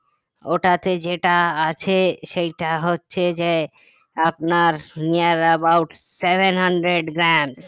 ওটাতে যেটা আছে সেটা হচ্ছে যে আপনার near about seven hundred grams